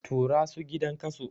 Tura su gidan kaso!